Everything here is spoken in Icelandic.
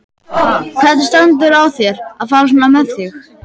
Hvernig stendur á þér að fara svona með þig?